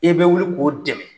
E bɛ wuli k'o dɛmɛ.